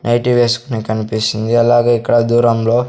nightie వేస్కునే కన్పిస్తుంది అలాగే ఇక్కడ దూరంలో--